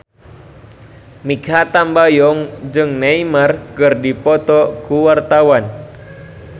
Mikha Tambayong jeung Neymar keur dipoto ku wartawan